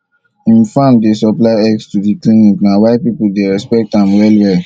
him farm dey supply eggs to the clinic na why people dey respect am well well